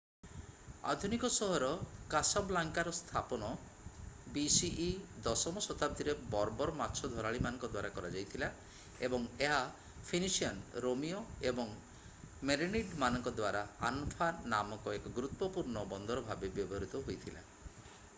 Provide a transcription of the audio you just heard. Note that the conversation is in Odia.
ଆଧୁନିକ ସହର କାସାବ୍ଲାଙ୍କାର ସ୍ଥାପନ bce 10ମ ଶତାବ୍ଦୀରେ ବର୍ବର୍ ମାଛ ଧରାଳୀମାନଙ୍କ ଦ୍ୱାରା କରାଯାଇଥିଲା ଏବଂ ଏହା ଫିନିସିଆନ୍ ରୋମୀୟ ଏବଂ ମେରେନିଡ୍‌ମାନଙ୍କ ଦ୍ୱାରା ଆନଫା ନାମକ ଏକ ଗୁରୁତ୍ୱପୂର୍ଣ୍ଣ ବନ୍ଦର ଭାବେ ବ୍ୟବହୃତ ହୋଇଥିଲା।